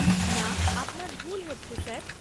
না, আপনার ভুল হচ্ছে স্যার।